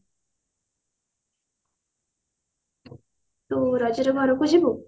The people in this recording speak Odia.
ତୁ ରଜ ରେ ଘରକୁ ଯିବୁ?